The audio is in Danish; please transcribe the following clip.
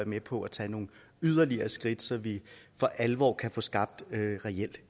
med på at tage nogle yderligere skridt så vi for alvor kan få skabt reel